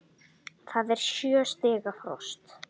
Það er sjö stiga frost!